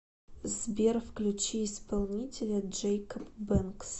сбер включи исполнителя джэйкоб бэнкс